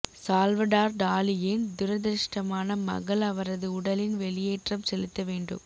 Salvador டாலியின் துரதிர்ஷ்டமான மகள் அவரது உடலின் வெளியேற்றம் செலுத்த வேண்டும்